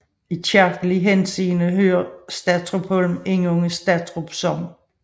I kirkelig henseende hører Satrupholm under Satrup Sogn